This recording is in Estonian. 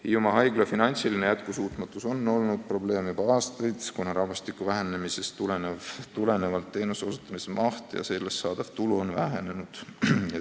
Hiiumaa haigla finantsiline jätkusuutmatus on olnud probleem juba aastaid, kuna rahvastiku vähenemise tõttu on teenuste osutamise maht ja sellest saadav tulu vähenenud.